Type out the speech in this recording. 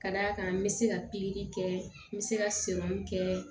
Ka d'a kan n bɛ se ka pikiri kɛ n bɛ se ka kɛ